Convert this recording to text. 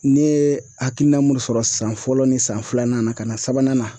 Ne ye hakilina mun sɔrɔ san fɔlɔ ni san filanan na ka na sabanan na